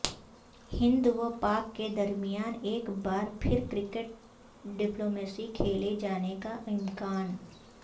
ہند و پاک کے درمیان ایک بار پھر کرکٹ ڈپلومیسی کھیلے جانے کا امکان